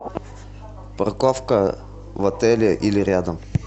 парковка в отеле или рядом